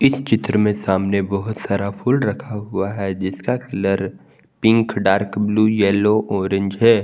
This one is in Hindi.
इस चित्र में सामने बहुत सारा फूल रखा हुआ है जिसका colour pink dark blue yellow orange है।